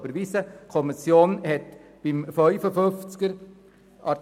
Auch die anderen Anträge hat die Kommission sehr deutlich abgelehnt: